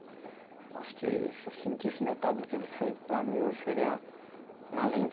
Eu acho que se eu sentisse metade do que ele sente, para mim hoje seria um alento.